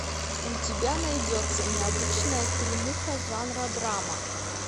у тебя найдется необычная фильмуха жанра драма